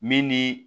Min ni